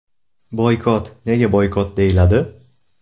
Boykot nega boykot deyiladi?